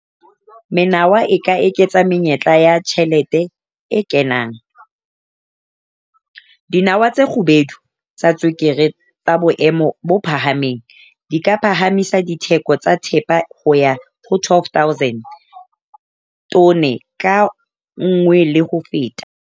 Menawa e ka eketsa menyetla ya tjhelete e kenang. Dinawa tse kgubedu tsa tswekere tsa boemo bo phahameng di ka phahamisa ditheko tsa thepa ho ya ho R12 000 tone ka nngwe le ho feta.